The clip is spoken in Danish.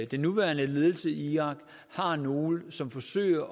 den nuværende ledelse i irak har nogle som forsøger